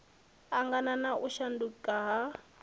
angana na u shanduka ha